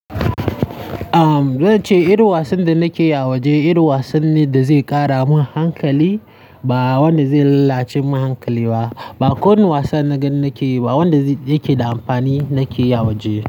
Am zan ce irin wasan da nake yi a waje irin wasan ne da zai ƙara min hankali. Ba wanda ze lallace mun hankali ba ba kowane wasan naga nake yi ba, wanda yake da amfani nake yi a waje.